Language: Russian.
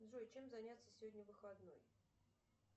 джой чем заняться сегодня выходной